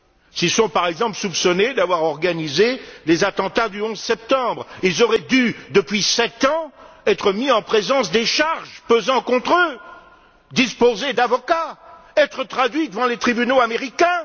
S'ils sont par exemple soupçonnés d'avoir organisé les attentats du 11 septembre, ils auraient dû, depuis sept ans, être mis en présence des charges pesant contre eux, disposer d'avocats, être traduits devant les tribunaux américains.